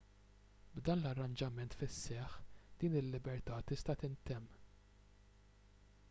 b'dan l-arranġament fis-seħħ din il-libertà tista' tintemm